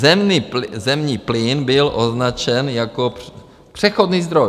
Zemní plyn byl označen jako přechodný zdroj.